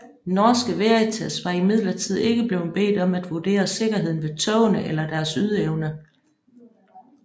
Norske Veritas var imidlertid ikke blevet bedt om at vurdere sikkerheden ved togene eller deres ydeevne